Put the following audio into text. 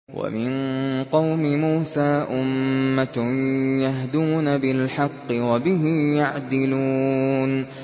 وَمِن قَوْمِ مُوسَىٰ أُمَّةٌ يَهْدُونَ بِالْحَقِّ وَبِهِ يَعْدِلُونَ